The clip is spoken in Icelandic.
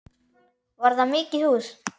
Var það mikið hús.